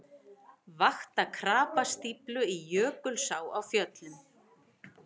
Vakta krapastíflu í Jökulsá á Fjöllum